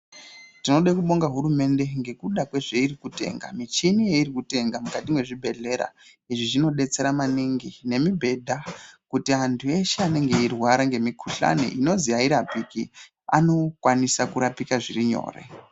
Tinode kubonga hurumende ngekuda kwezveirikutenga, michini yeirikutenga mukati mwezvibhehlera. Izvi zvinodetsera maningi, nemibhedha kuti antu eshe anenge eirwara nemikuhlani inozi hairapiki, anokwanisa kurapika zviri nyore.